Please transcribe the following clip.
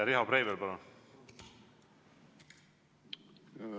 Riho Breivel, palun!